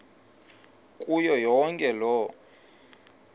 kuyo yonke loo